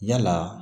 Yala